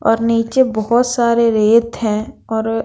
और नीचे बहुत सारे रेत हैं और--